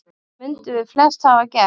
Það mundum við flest hafa gert.